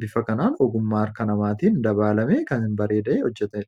bifa kanaan ogummaa harka namaatiin dabaalamee hojjetame yoo ta'u, gurgurtaadhaaf kan qophaa'ee jirudha.